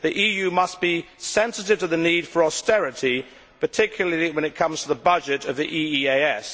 The EU must be sensitive to the need for austerity, particularly when it comes to the budget of the EEAS.